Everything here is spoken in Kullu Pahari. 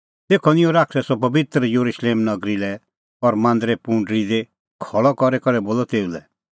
तेखअ निंयं शैतानै सह पबित्र येरुशलेम नगरी लै और मांदरे पुंडरी दी खल़अ करी करै बोलअ तेऊ लै